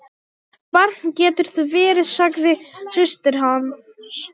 Barn geturðu verið, sagði systir hans.